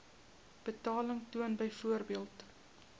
betaling toon byvoorbeeld